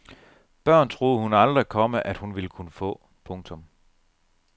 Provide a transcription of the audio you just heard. Børn troede hun aldrig, komma at hun ville kunne få. punktum